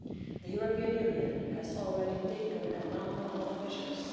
The European Union has already taken a number of measures.